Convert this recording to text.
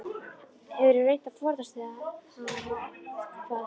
Hefurðu reynt að forðast hana eða hvað?